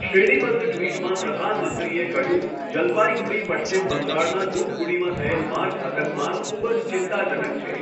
શ્રેણીબદ્ધ ટિ્વટમાં પ્રધાનમંત્રીએ કહ્યું, જલપાઇગુડી પશ્ચિમ બંગાળના ધૂપગુડીમાં થયેલ માર્ગ અકસ્માત ખૂબ જ ચિંતાજનક છે.